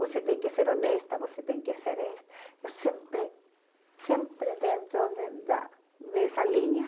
Você tem que ser honesta, você tem que ser eh... Eu sempre, sempre dentro de da dessa linha.